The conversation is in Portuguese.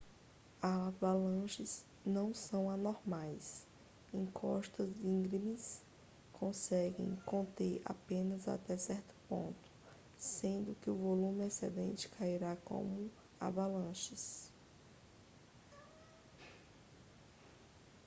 avalanches não são anormais encostas íngremes conseguem conter apenas até certo ponto sendo que o volume excedente cairá como avalanches